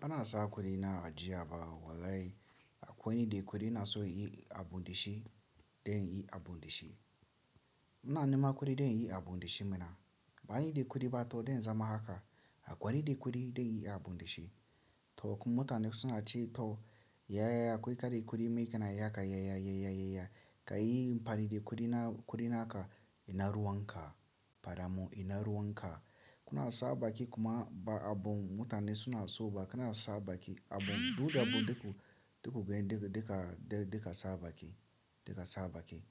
Bana sa kuɗi na ajiya ba wallahi akwai ni da kuɗi ina so inyi abun da shi don inyi abun da shi. Ina neman kuɗi don inyi abun da shi mana. Ba ni da kuɗi ba to zan zama haka. Akwai randa kuɗi zanyi abu da shi. To kuma mutane suna ce to yaya akwai kare kuɗi mai kanayi haka yaya yaya yaya ka yi amfani da kuɗi naka ina ruwanka. Fada mun ina ruwanka. Kuna saba ki kuma ba abun mutane suna so ba kana saba ki abun duk abun da kuka gani da ka saba ki da ka saba ki.